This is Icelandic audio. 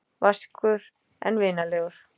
Vaskur en vinalegur.